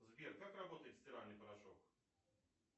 сбер как работает стиральный порошок